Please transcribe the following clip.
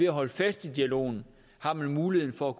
holde fast i dialogen har man muligheden for